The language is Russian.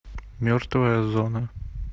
мертвая зона